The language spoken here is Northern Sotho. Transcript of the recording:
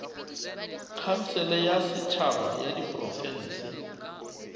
khansele ya setšhaba ya diprofense